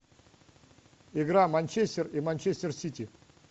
игра манчестер и манчестер сити